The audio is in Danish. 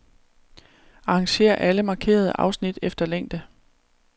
Arrangér alle markerede afsnit efter længde.